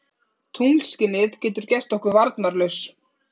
Tunglskinið getur gert okkur varnarlaus.